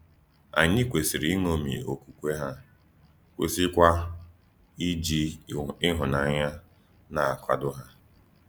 Ànyí kwèsìrì íṅómì Òkwùkwé hà, kwèsìkwa íjì íhù́nànyà na-àkwàdò hà.